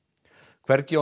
hvergi á